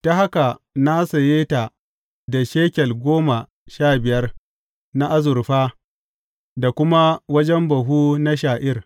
Ta haka na saye ta da shekel goma sha biyar na azurfa da kuma wajen buhu na sha’ir.